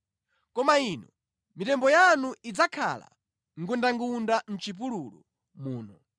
Koma inu mitembo yanu idzakhala ngundangunda mʼchipululu muno.